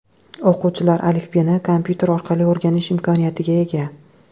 O‘quvchilar alifbeni kompyuter orqali o‘rganish imkoniyatiga ega.